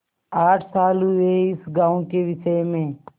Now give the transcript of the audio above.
आठ साल हुए इस गॉँव के विषय में